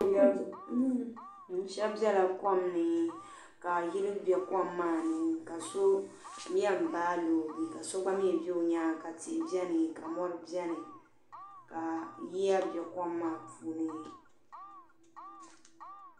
shɛb Bela kom ni ka yili be kom maa ni ka so yen baa loogi ka so gba be o nyaanga ka tihi beni ka mori beni ka yiya be kom maaa puuni